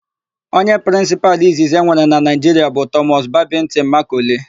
Onye prịnsịpalụ izizi e nwere na Naịjiria bụ Tọmọs Babịntịn Makọle.